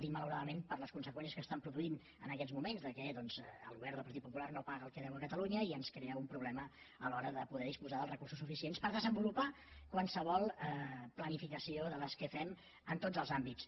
dic malauradament per les conseqüències que estan produint en aquests moments que el govern del partit popular no paga el que deu a catalunya i ens crea un problema a l’hora de poder disposar dels recursos suficients per desenvolupar qualsevol planificació de les que fem en tots els àmbits